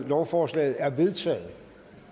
lovforslaget er vedtaget